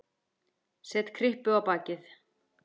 Set kryppu á bakið.